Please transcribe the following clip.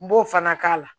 N b'o fana k'a la